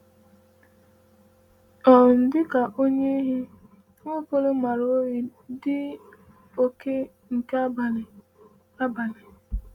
um “Dị ka onye ehi, Nwaokolo maara oyi dị oke nke abalị.” abalị.”